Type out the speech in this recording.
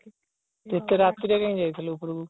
ତୁ ଏତେ ରାତିରେ କାଇଁ ଯାଇଥିଲୁ ଉପରକୁ